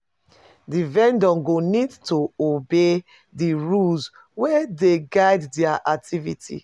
Di vendor go need to obey di rules wey dey guide their activities